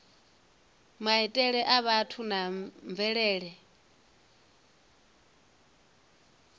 maitele a vhathu na mvelele